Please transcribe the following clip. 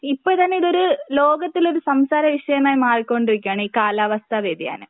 ഇപ്പോൾതന്നെ ഇതൊരു ലോകത്തിലൊരു സംസാരവിഷയമായി മാറി കൊണ്ടിരിക്കുകയാണീ കാലാവസ്ഥാ വ്യതിയാനം.